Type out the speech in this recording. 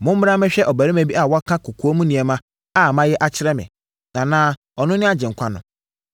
“Mommra mmɛhwɛ ɔbarima bi a waka kɔkoam nneɛma a mayɛ akyerɛ me! Anaa, ɔno ne Agyenkwa no?”